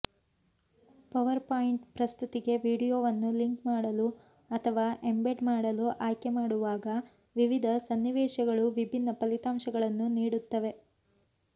PowerPoint ಪ್ರಸ್ತುತಿಗೆ ವೀಡಿಯೊವನ್ನು link ಮಾಡಲು ಅಥವಾ ಎಂಬೆಡ್ ಮಾಡಲು ಆಯ್ಕೆಮಾಡುವಾಗ ವಿವಿಧ ಸನ್ನಿವೇಶಗಳು ವಿಭಿನ್ನ ಫಲಿತಾಂಶಗಳನ್ನು ನೀಡುತ್ತವೆ